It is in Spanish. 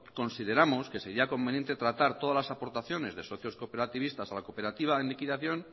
consideramos que sería conveniente tratar todas las aportaciones de socios cooperativistas a la cooperativa en liquidación